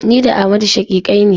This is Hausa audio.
Ni da Amadu shaƙiƙai ne.